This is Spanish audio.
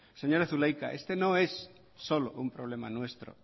señora zulaika este no es solo un problema nuestro